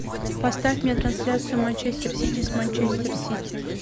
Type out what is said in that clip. поставь мне трансляцию манчестер сити с манчестер сити